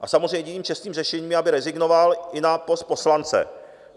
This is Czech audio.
A samozřejmě jediným čestným řešením je, aby rezignoval i na post poslance.